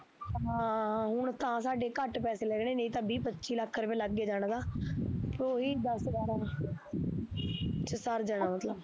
ਹਾਂ ਹੁਣ ਤਾਂ ਸਾਡੇ ਘੱਟ ਪੈਸੇ ਲੱਗਣੇ ਨਹੀਂ ਤਾਂ ਵੀਹ ਪੱਚੀ ਲੱਖ ਰੁਪਿਆ ਲੱਗਏ ਜਾਣਾ ਤਾ ਓਹੀ ਦੱਸ ਬਾਰਾਂ ਸਰ ਜਾਣਾ ਮਤਲਬ